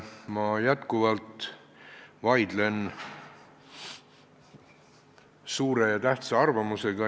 Ma jätkuvalt vaidlen suure ja tähtsa arvamusega.